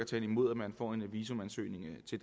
tale imod at man får en visumansøgning til